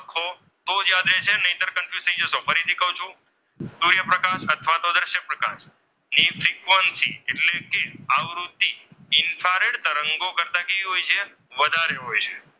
ની ફ્રિકવન્સી એટલે કે આવૃત્તિ ઇન્ફ્રારેડ તરંગો કરતા કેવી હોય છે? વધારે હોય છે.